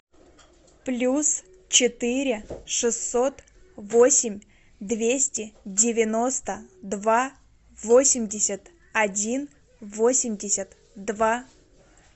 плюс четыре шестьсот восемь двести девяносто два восемьдесят один восемьдесят два